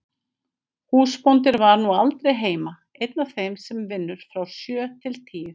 Húsbóndinn var nú aldrei heima, einn af þeim sem vinnur frá sjö til tíu.